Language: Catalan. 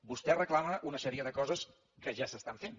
vostè reclama una sèrie de coses que ja s’estan fent